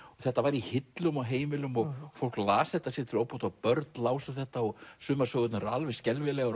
þetta var í hillum á heimilum og fólk las þetta sér til óbóta og börn lásu þetta sumar sögurnar eru alveg skelfilegar